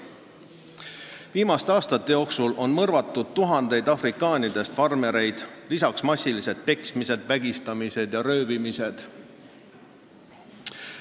Viimaste aastate jooksul on mõrvatud tuhandeid afrikandritest farmereid, lisaks massilised peksmised, vägistamised ja röövimised.